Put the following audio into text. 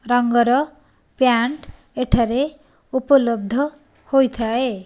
ରଙ୍ଗର ପ୍ୟାଣ୍ଟ ଏଠାରେ ଉପଲବ୍ଧ ହୋଇଥାଏ।